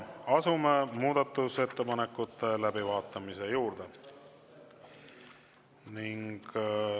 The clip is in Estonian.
Asume muudatusettepanekute läbivaatamise juurde.